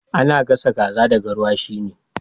Ana gasa kaza da garwashi ne